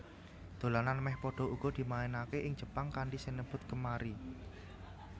Dolanan mèh padha uga dimainaké ing Jepang kanthi sinebut Kemari